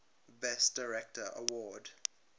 best director award